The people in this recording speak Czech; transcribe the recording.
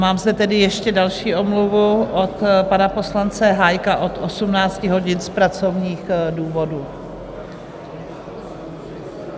Mám zde tedy ještě další omluvu od pana poslance Hájka od 18 hodin z pracovních důvodů.